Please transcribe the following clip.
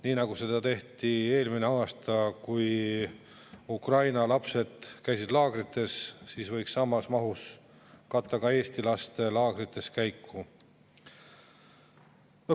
Nii nagu seda tehti eelmine aasta, kui Ukraina lapsed käisid laagrites, võiks samas mahus katta ka Eesti laste laagrites käimist.